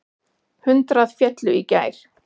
Hundrað féllu í gær.